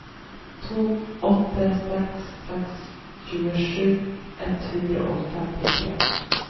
to åtte seks seks tjuesju ett hundre og femtitre